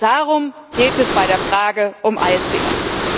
Darum geht es bei der Frage um ISDS.